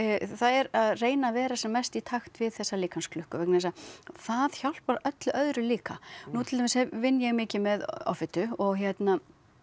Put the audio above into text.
það er að reyna að vera sem mest í takt við þessa líkamsklukku vegna þess að það hjálpar öllu öðru líka nú til dæmis vinn ég mikið með offitu og hérna